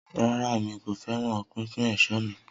Rara, Emi ko fẹran pinpin eso mi.